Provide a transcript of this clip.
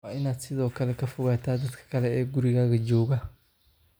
Waa inaad sidoo kale ka fogaataa dadka kale ee gurigaaga jooga.